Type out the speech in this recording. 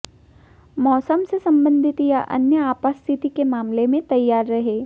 मौसम से संबंधित या अन्य आपात स्थिति के मामले में तैयार रहें